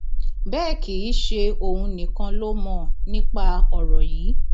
bẹẹ kì í ṣe òun nìkan ló mọ nípa ọrọ yìí